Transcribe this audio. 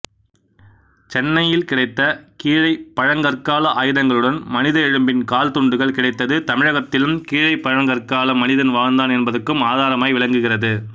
சென்னையில் கிடைத்த கீழைப்பழங்கற்கால ஆயுதங்களுடன் மனித எழும்பின் கால்துண்டுகள் கிடைத்தது தமிழகத்திலும் கீழைப்பழங்கற்கால மனிதன் வாழ்ந்தான் என்பதுக்கு ஆதாரமாய் விளங்குகிறது